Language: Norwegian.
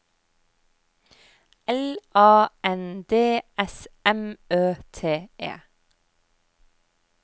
L A N D S M Ø T E